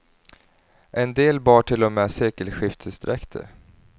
En del bar till och med sekelskiftesdräkter.